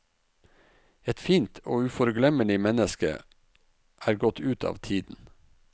Et fint og uforglemmelig menneske er gått ut av tiden.